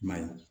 I m'a ye